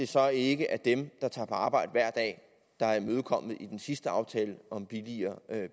så ikke er dem der tager på arbejde hver dag der er imødekommet i den sidste aftale om billigere